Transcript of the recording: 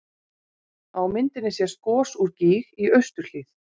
Á myndinni sést gos úr gíg í austurhlíð